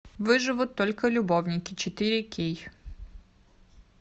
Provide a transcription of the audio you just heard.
выживут только любовники четыре кей